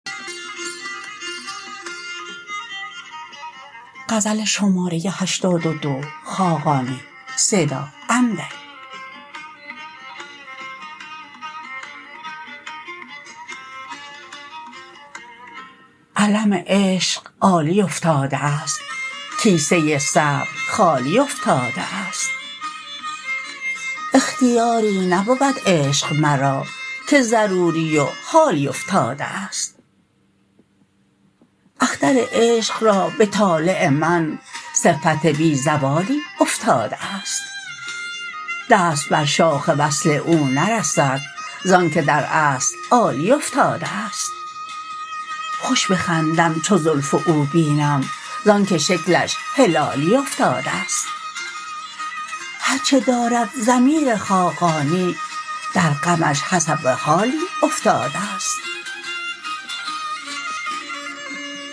علم عشق عالی افتاده است کیسه صبر خالی افتاده است اختیاری نبود عشق مرا که ضروری و حالی افتاده است اختر عشق را به طالع من صفت بی زوالی افتاده است دست بر شاخ وصل او نرسد ز آنکه در اصل عالی افتاده است خوش بخندم چو زلف او بینم زآنکه شکلش هلالی افتاده است هرچه دارد ضمیر خاقانی در غمش حسب حالی افتاده است